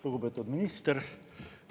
Lugupeetud minister!